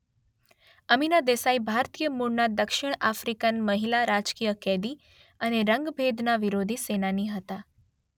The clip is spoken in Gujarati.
અમીના દેસાઈ ભારતીય મૂળનાં દક્ષિણ અફ્રિકન મહિલા રાજકીય કેદી અને રંગભેદના વિરોધી સેનાની હતાં